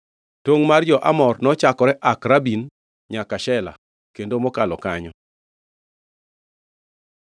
Tongʼ mar jo-Amor nochakore Akrabim nyaka Sela kendo mokalo kanyo.